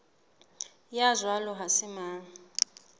ya jwalo ha se mang